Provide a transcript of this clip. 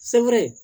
Sebere